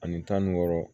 Ani tan ni wɔɔrɔ